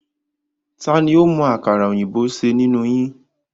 Tani ó mọ àkàrà òyìnbó ṣe nínú yín?